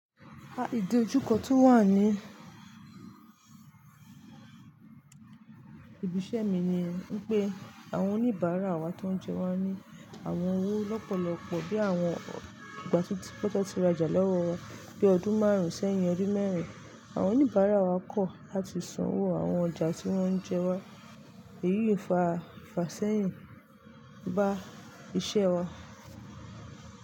A, ìdojúkọ tó wà ní ibi iṣẹ́ mi ni wípé àwọn oníbàárà wa tó ń jẹ wa ní àwọn owó lọ́pọ̀lọpọ̀ bí àwọn ìgbà tí pátápátá ti ra jà lọwọ wàá bi ọdún márùn-ún sẹ́yìn ọdún mẹ́rin. Àwọn oníbàárà wa kọ̀ láti san owó àwọn ọjà tí wọ́n ń jẹ wa. Èyí fa, fa sẹ́yìn bá iṣẹ́ wa.